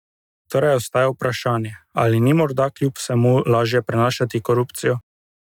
Torej ostaja vprašanje, ali ni morda kljub vsemu lažje prenašati korupcijo?